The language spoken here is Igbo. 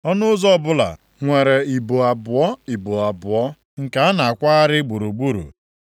Ọnụ ụzọ ọbụla nwere ibo abụọ, ibo abụọ nke a na-akwagharị gburugburu.